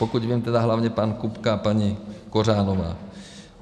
Pokud vím, tedy hlavně pan Kupka a paní Kořanová.